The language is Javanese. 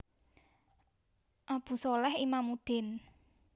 Abu sholeh Imamuddin